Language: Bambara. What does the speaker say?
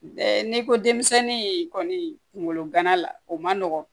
Ɛɛ n'i ko denmisɛnnin in kɔni kunkolo gana la o man nɔgɔn